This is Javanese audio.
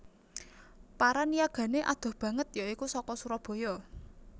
Para niyagané adoh banget ya iku saka Surabaya